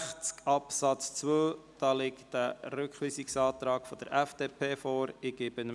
Zu Artikel 162 Absatz 2 liegt ein Rückweisungsantrag der FDP vor.